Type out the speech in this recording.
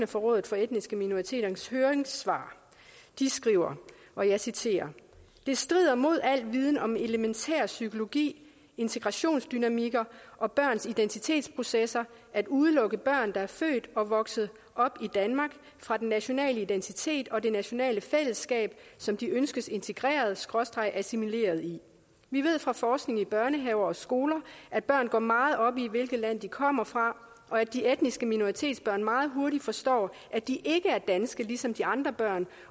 fra rådet for etniske minoriteters høringssvar de skriver og jeg citerer det strider mod al viden om elementær psykologi integration dynamikker og børns identitetsprocesser at udelukke børn der er født og vokset op i danmark fra den nationale identitet og det nationale fællesskab som de ønskes integreretassimileret i vi ved fra forskning i børnehaver og skoler at børn går meget op i hvilket land de kommer fra og at de etniske minoritetsbørn meget hurtigt forstår at de ikke er danske ligesom de andre børn